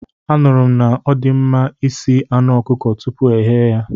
Anụrụ m na ọdịmma isi anụ ọkụkọ tupu ghee ya.